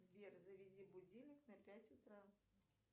сбер заведи будильник на пять утра